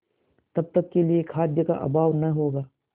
तब तक के लिए खाद्य का अभाव न होगा